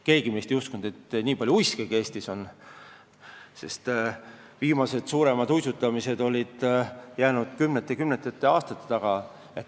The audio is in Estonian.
Keegi meist ei uskunud, et nii palju uiskegi Eestis on, sest viimased suuremad uisutamised olid jäänud kümnete aastate taha.